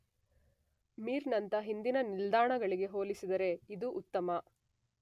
ಮಿರ್ ನಂತಹ ಹಿಂದಿನ ನಿಲ್ದಾಣಗಳಿಗೆ ಹೋಲಿಸಿದರೆ ಇದು ಉತ್ತಮ